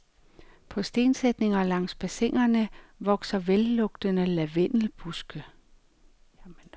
På stensætninger langs bassinerne vokser vellugtende lavendelbuske.